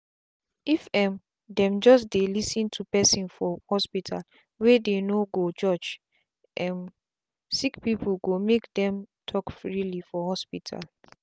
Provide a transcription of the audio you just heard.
if um them just dey lis ten to person for hospitalwey dey no go judge um sick peoplee go make dem talk freely for hospital.